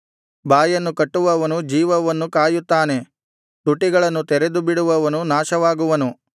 ಬಾಯನ್ನು ಕಾಯುವವನು ಜೀವವನ್ನು ಕಾಯುತ್ತಾನೆ ತುಟಿಗಳನ್ನು ತೆರೆದುಬಿಡುವವನು ನಾಶವಾಗುವನು